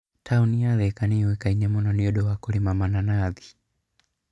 Taũni ya Thika nĩ ĩũĩkaine mũno nĩ ũndũ wa kũrĩma mainafũ.